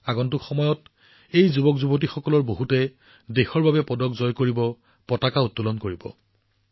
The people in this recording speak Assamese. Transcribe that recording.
আগন্তুক সময়ত এই যুৱকযুৱতীসকলৰ বহুতে দেশৰ বাবে পদক জিকিব আৰু ত্ৰিৰংগা উত্তোলন কৰিব